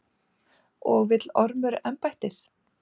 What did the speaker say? Og vill Ormur embættið?